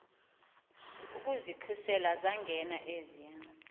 ukuzikhusela zangena eziya